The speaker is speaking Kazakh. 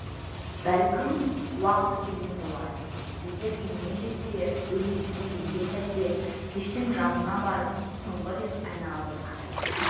бәлкім уақыты келген болар егер үйіне жетсе бөлмесіне енген сәтте пештің жанына барып соңғы рет айнаға бір қарайды